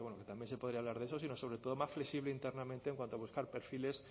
también se podría hablar de eso sino sobre todo más flexible internamente en cuanto a buscar perfiles